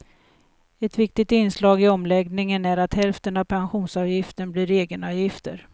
Ett viktigt inslag i omläggningen är att hälften av pensionsavgifterna blir egenavgifter.